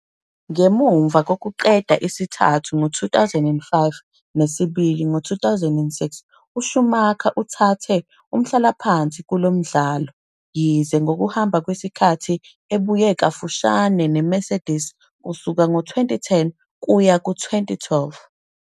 Ngemuva kokuqeda isithathu ngo-2005 nesesibili ngo-2006, uSchumacher uthathe umhlalaphansi kulo mdlalo, yize ngokuhamba kwesikhathi abuye kafushane neMercedes kusuka ngo-2010 kuya ku-2012.